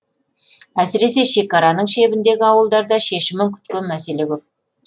әсіресе шекараның шебіндегі ауылдарда шешімін күткен мәселе көп